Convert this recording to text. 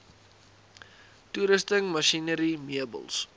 toerusting masjinerie meubels